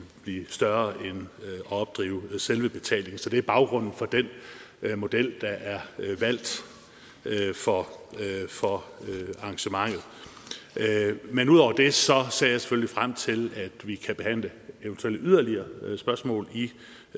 blive større end selve betalingen så det er baggrunden for den model der er valgt for arrangementet men udover det ser jeg selvfølgelig frem til at vi kan behandle eventuelt yderligere spørgsmål